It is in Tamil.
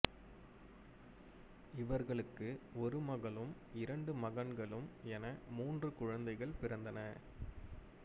இவர்களுக்கு ஒரு மகளும் இரண்டு மகன்களும் என மூன்று குழந்தைகள் பிறந்தனர்